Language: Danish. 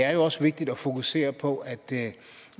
er jo også vigtigt at fokusere på at